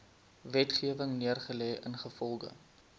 wetgewing neergelê ingevolge